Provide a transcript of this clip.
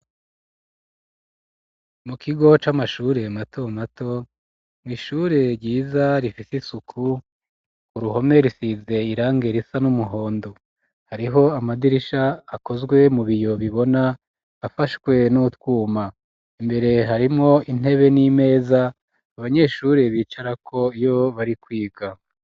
Mu kigo c'amashure mato mato ishure ryiza rifise isuku ku ruhome risize irangi risa n'umuhondo hariho amadirisha akozwe mu biyo bibona afashwe n'utwuma imbere harimwo intebe n'imeza abanyeshure bicarako iyo bari kwiga.